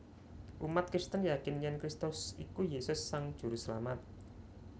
Umat Kristen yakin yèn Kristus iku Yesus Sang Juruselamat